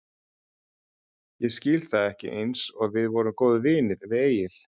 Ég skil það ekki einsog við vorum góðir vinir við Egill.